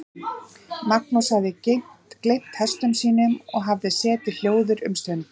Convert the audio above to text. Magnús hafði gleymt hestum sínum og hafði setið hljóður um stund.